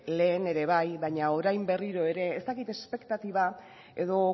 lehen ere bai baina orain berriro ere ez dakit espektatiba edo